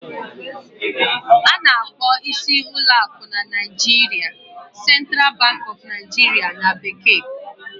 A na-akpọ isi ụlọ akụ na Naijiria "Central Bank of Nigeria" na bekee